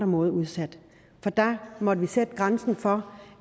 måde udsat for der måtte vi sætte grænsen for